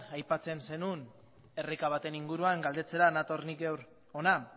aipatzen zenuen erreka baten inguruan galdetzera nator ni gaur hona